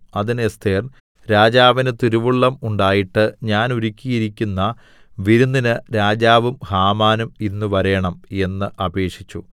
അതിന് എസ്ഥേർ രാജാവിന് തിരുവുള്ളം ഉണ്ടായിട്ട് ഞാൻ ഒരുക്കിയിരിക്കുന്ന വിരുന്നിന് രാജാവും ഹാമാനും ഇന്ന് വരേണം എന്ന് അപേക്ഷിച്ചു